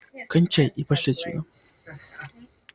кончай и пошли отсюда